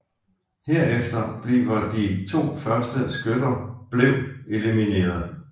Herefter bliver de to første skytter blev elimineret